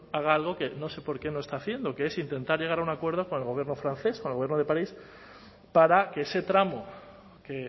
haga algo que no sé por qué no está haciendo que es intentar llegar a un acuerdo con el gobierno francés con el gobierno de parís para que ese tramo que